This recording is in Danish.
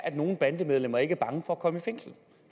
at nogle bandemedlemmer ikke er bange for at komme i fængsel